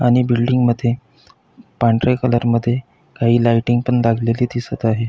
आणि बिल्डिंग मध्ये पांढरे कलर मध्ये काही लायटिंग पण लागलेली दिसत आहे.